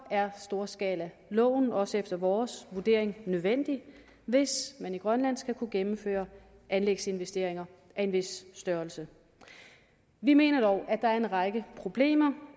er storskalaloven også efter vores vurdering nødvendig hvis man i grønland skal kunne gennemføre anlægsinvesteringer af en vis størrelse vi mener dog at der er en række problemer